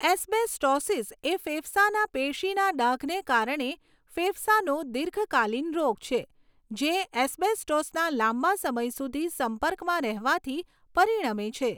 Asbestosis એ ફેફસાના પેશીના ડાઘને કારણે ફેફસાનો દીર્ઘકાલીન રોગ છે, જે એસ્બેસ્ટોસના લાંબા સમય સુધી સંપર્કમાં રહેવાથી પરિણમે છે.